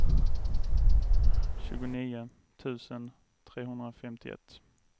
tjugonio tusen trehundrafemtioett